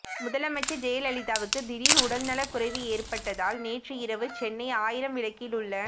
முதலமைச்சர் ஜெயலலிதாவுக்கு திடீர் உடல்நலக்குறைவு ஏற்பட்டதால் நேற்று இரவு சென்னை ஆயிரம் விளக்கில் உள்ள